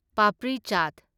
papri ꯆꯥꯠ